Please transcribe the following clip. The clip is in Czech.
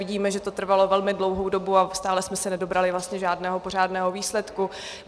Vidíme, že to trvalo velmi dlouhou dobu, a stále jsme se nedobrali vlastně žádného pořádného výsledku.